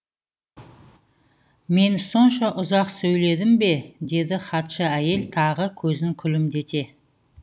мен сонша ұзақ сөйледім бе деді хатшы әйел тағы көзін күлімдете